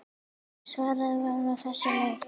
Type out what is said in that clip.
Svarið var á þessa leið